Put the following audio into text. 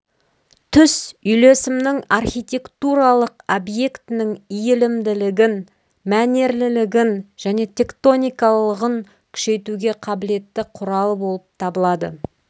түс үйлесімнің архитектуралық объектінің иілімділігін мәнерлілігін және тектоникалылығын күшейтуге қабілетті құралы болып табылады